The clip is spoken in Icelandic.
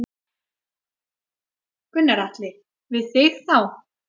Gunnar Atli: Við þig þá?